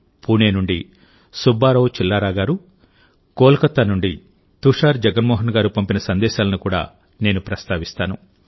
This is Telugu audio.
పూణే నుండి సుబ్బారావు చిల్లరా గారు కోల్కతా నుండి తుషార్ జగ్మోహన్ గారు పంపిన సందేశాలను కూడా నేను ప్రస్తావిస్తాను